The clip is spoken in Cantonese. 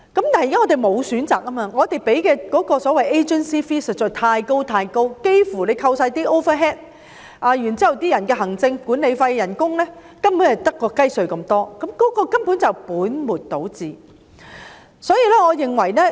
我們的問題是沒有選擇，我們要支付的所謂 agency fee 實在太高，扣除全部 overhead cost 及行政費、管理費及工資等，利潤所餘無幾，根本是本末倒置。